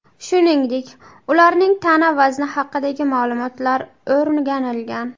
Shuningdek, ularning tana vazni haqidagi ma’lumotlar o‘rganilgan.